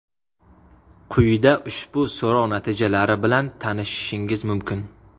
Quyida ushbu so‘rov natijalari bilan tanishishingiz mumkin.